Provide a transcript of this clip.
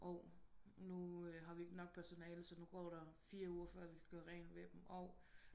Og nu har vi ikke nok personale så nu går der fire uger før vi kan gøre rent ved dem og